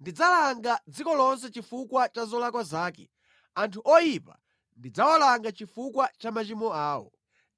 Ndidzalanga dziko lonse chifukwa cha zolakwa zake, anthu oyipa ndidzawalanga chifukwa cha machimo awo.